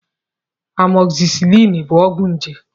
Amọgzisiliin bụ ọgwụ njé.